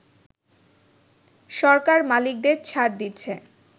সরকার মালিকদের ছাড় দিচ্ছে”